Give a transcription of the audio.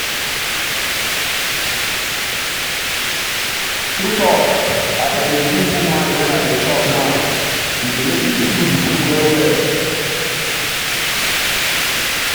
true talk as i begin put mind when i dey chop now e dey make me feel the food well well.